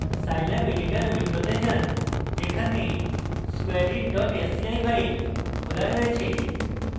scilab editor window যান যেখানে squareit sci file খোলা রয়েছে